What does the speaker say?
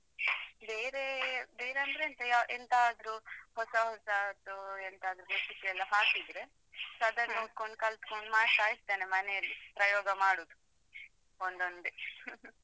ಬೇರೆ ಬೇರೆಂದ್ರೆ ಎಂತ ಎಂತಾದ್ರೂ ಹೊಸ ಹೊಸದ್ದು ಎಂತಾದ್ರೂ recipe ಯೆಲ್ಲ ಹಾಕಿದ್ರೆ. ಸಾಧಾರಣ ನೋಡ್ಕೊಂಡು ಕಲ್ತ್ಕೊಂಡು ಮಾಡ್ತಾ ಇರ್ತೇನೆ ಮನೆಯಲ್ಲಿ. ಪ್ರಯೋಗ ಮಾಡೋದು ಒಂದೊಂದೆ